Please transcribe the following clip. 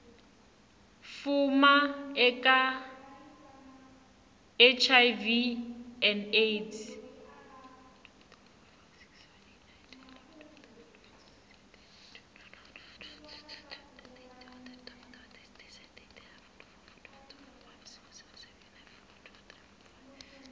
fuma eka hiv na aids